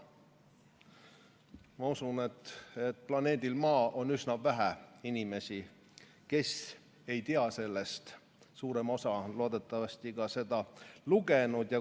Ma usun, et planeedil Maa on üsna vähe inimesi, kes sellest ei tea, suurem osa on loodetavasti seda ka lugenud.